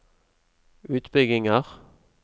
utbygginger